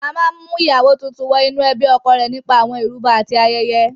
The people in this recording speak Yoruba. A máa ń mú ìyàwó tuntun wọ inú ẹbí ọkọ rẹ̀ nípa àwọn ìrúbọ àti ayẹyẹ.